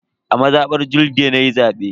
A mazabar Julde nayi zabe.